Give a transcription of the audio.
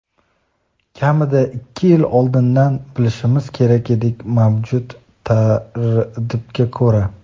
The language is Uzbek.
kamida ikki yil oldindan bilishimiz kerak edik mavjud tartibga ko‘ra.